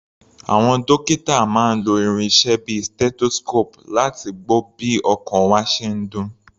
Àwọn dókítà máa ń lo irinṣẹ́ bíi stethoscope láti gbọ́ bí ọkàn wa ṣe ń dún.